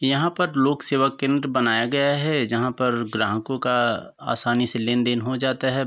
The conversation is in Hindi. यहाँ पर लोक सेवा केंद्र बनाया गया है जहाँ पर ग्राहकों का आसानी से लेनदेन हो जाता है।